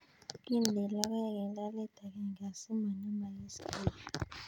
Kindeni logoek eng' lolet agenge asimangemagis kelae